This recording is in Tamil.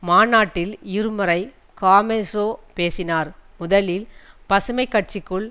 மாநாட்டில் இருமுறை காமெஜோ பேசினார் முதலில் பசுமை கட்சிக்குள்